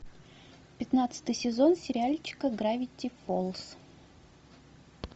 пятнадцатый сезон сериальчика гравити фолз